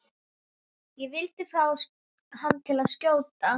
Ég vildi fá hann til að skjóta.